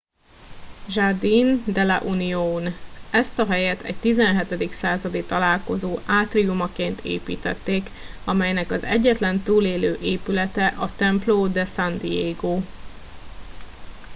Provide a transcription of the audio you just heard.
jardín de la unión ezt a helyet egy 17. századi találkozó átriumaként építették amelynek az egyetlen túlélő épülete a templo de san diego